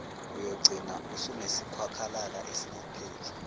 uyogcina usunesikhwakhwalala esingapheli